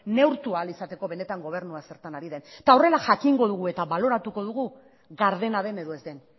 neurtu ahal izateko benetan gobernua zertan ari den eta horrela jakingo dugu eta baloratuko dugu gardena den edo ez den